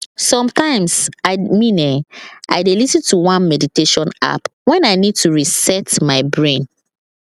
sometimes i mean[um]i dey lis ten to one meditation app when i need to reset my brain